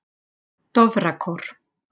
Dofrakór